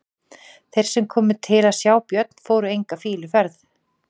Þeir sem komu til að sjá Björn fóru enga fýluferð.